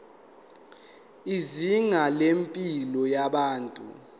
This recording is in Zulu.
izinga lempilo yabantu